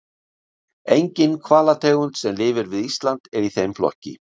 Engin hvalategund sem lifir við Ísland er í þeim flokki.